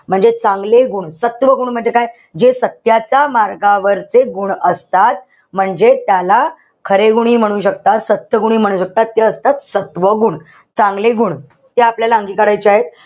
म्हणजे चांगले गुण, सत्व गुण म्हणजे काय? जे सत्याच्या मार्गावर जे गुण असतात, म्हणजे त्याला खरे गुण हि म्हणू शकतात. सत्य गुण हि म्हणू शकतात. सत्व गुण. चांगले गुण. ते आपल्याला अंगिकारायचे आहेत.